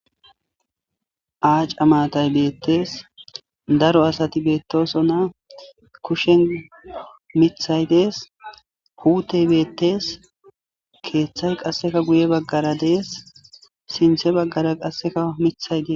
acca matayi betees.daro asati betosonna kushshenni miththayi dees.puteyi beteees.keththayi qasi guye bagara dees.sinththe bagara qassekka miththayi dees .